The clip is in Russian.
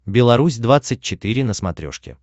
беларусь двадцать четыре на смотрешке